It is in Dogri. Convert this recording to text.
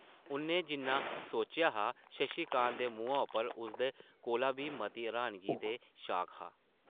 उʼन्नै जिन्ना सोचेआ हा शशि कांत दे मुहां उप्पर उसदे कोला बी मती र्हानगी ते शॉक हा ।